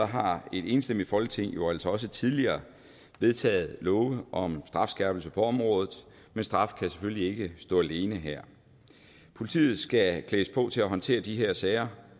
har et enstemmigt folketing jo altså også tidligere vedtaget love om strafskærpelse på området men straf kan selvfølgelig ikke stå alene her politiet skal klædes på til at håndtere de her sager